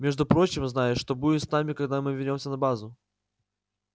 между прочим знаешь что будет с нами когда мы вернёмся на базу